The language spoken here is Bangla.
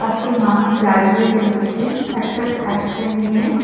একজন মানুষ দাঁড়িয়ে রয়েছে একটা সাইকেল নিয়ে।